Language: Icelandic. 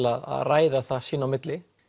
að ræða sín á milli